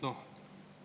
[Hea ettekandja!